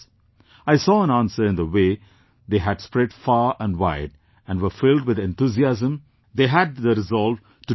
I saw an answer in the way they had spread far and wide and were filled with enthusiasm, they had the resolve to do something